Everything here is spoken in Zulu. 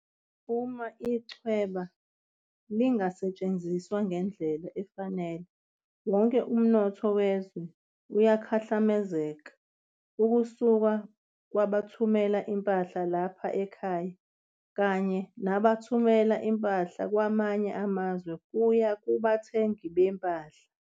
Uma ichweba lingasetshenziswa ngendlela efanele, wonke umnotho wezwe uyakhahlamezeka, ukusuka kwabathumela impahla lapha ekhaya kanye nabathumela impahla kwamanye amazwe kuya kubathengi bempahla.